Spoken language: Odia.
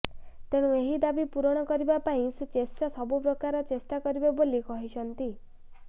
ତେଣୁ ଏହି ଦାବି ପୂରଣ କରିବା ପାଇଁ ସେ ଚେଷ୍ଟା ସବୁ ପ୍ରକାର ଚେଷ୍ଟା କରିବେ ବୋଲି କହିଛନ୍ତି